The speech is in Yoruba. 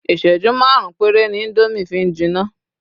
iṣẹju marun pere ni Indomie fi n jina